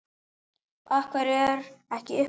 Af hverju er ekki uppselt?